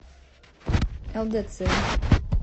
лдц